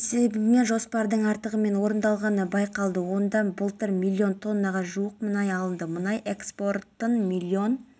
маусым сағат сарыарқа ауданының пионерская көшесі абай даңғылы сарыарқа даңғылы омаров көшесі герцен және жерұйық көшелерінде электр қуаты сөндіріледі